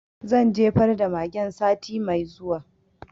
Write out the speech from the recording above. Zan jefar da magen sati mai zuwa